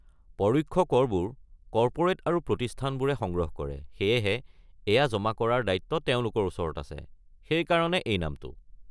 পৰোক্ষ কৰবোৰ কৰ্পোৰেট আৰু প্ৰতিষ্ঠানবোৰে সংগ্ৰহ কৰে সেয়েহে, এইয়া জমা কৰাৰ দায়িত্ব তেওঁলোকৰ ওচৰত আছে, সেই কাৰণে এই নামটো।